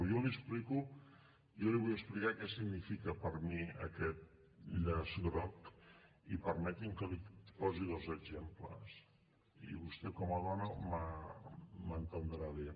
jo li explico jo li vull explicar què significa per mi aquest llaç groc i permeti’m que li posi dos exemples i vostè com a dona m’entendrà bé